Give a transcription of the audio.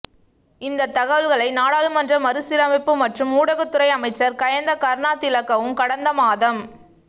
இந்தத் தகவல்களை நாடாளுமன்ற மறுசீரமைப்பு மற்றும் ஊடகத்துறை அமைச்சர் கயந்த கருணாதிலக்கவும் கடந்த மாதம்